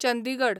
Chandigarh